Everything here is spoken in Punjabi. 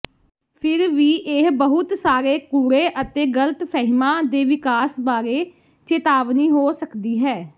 ਫਿਰ ਵੀ ਇਹ ਬਹੁਤ ਸਾਰੇ ਕੂੜੇ ਅਤੇ ਗਲਤਫਹਿਮਾਂ ਦੇ ਵਿਕਾਸ ਬਾਰੇ ਚੇਤਾਵਨੀ ਹੋ ਸਕਦੀ ਹੈ